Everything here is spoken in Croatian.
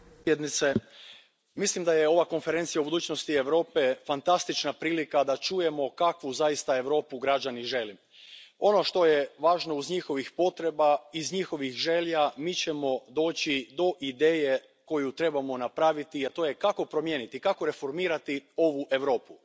Poštovani predsjedavajući, mislim da je ova Konferencija o budućnosti Europe fantastična prilika da čujemo kakvu zaista Europu građani žele. Ono što je važno iz njihovih potreba, iz njihovih želja, mi ćemo doći do ideje koju trebamo napraviti, a to je kako promijeniti, kako reformirati ovu Europu.